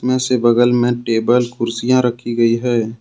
में से बगल में टेबल कुर्सियां रखी गई है।